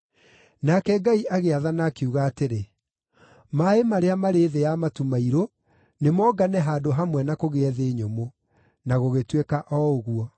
Nake Ngai agĩathana, akiuga atĩrĩ, “Maaĩ marĩa marĩ thĩ ya matu mairũ nĩ mongane handũ hamwe na kũgĩe thĩ nyũmũ.” Na gũgĩtuĩka o ũguo.